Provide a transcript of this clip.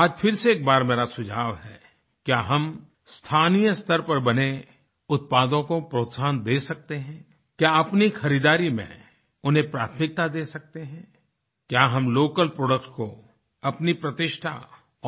आज फिर से एक बार मेरा सुझाव है क्या हम स्थानीय स्तर पर बने उत्पादों को प्रोत्साहन दे सकते हैं क्या अपनी खरीदारी में उन्हें प्राथमिकता दे सकतें हैं क्या हम लोकल प्रोडक्ट्स को अपनी प्रतिष्ठा